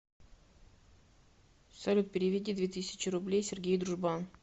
салют переведи две тысячи рублей сергей дружбан